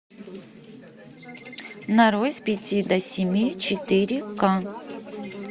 нарой с пяти до семи четыре ка